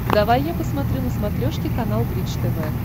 давай я посмотрю на смотрешке канал бридж тв